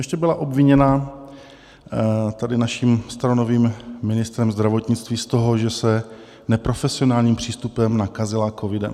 Ještě byla obviněna tady naším staronovým ministrem zdravotnictví z toho, že se neprofesionálním přístupem nakazila covidem.